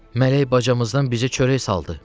Mələk bacamızdan bizə çörək saldı.